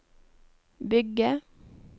bygge